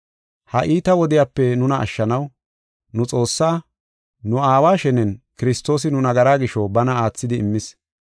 Ha iita wodiyape nuna ashshanaw, nu Xoossaa, nu Aawa shenen Kiristoosi nu nagara gisho bana aathidi immis.